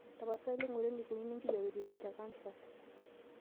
tapasali ngura eneikununo enkijiape teidie tekansas